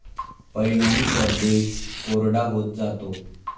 परिणामी प्रदेश कोरडा होत जातो.